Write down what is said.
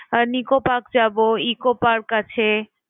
nicco park যাব, eco park আছে।